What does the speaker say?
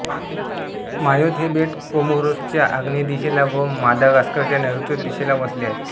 Mayotte हे बेट कोमोरोसच्या आग्नेय दिशेला व मादागास्करच्या नैऋत्य दिशेला वसले आहे